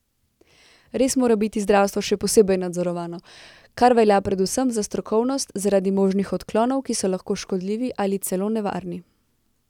Res mora biti zdravstvo še posebej nadzorovano, kar velja predvsem za strokovnost zaradi možnih odklonov, ki so lahko škodljivi ali celo nevarni.